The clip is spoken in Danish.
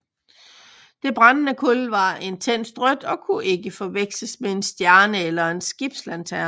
Det brændende kul var intenst rødt og kunne ikke forveksles med en stjerne eller en skibslanterne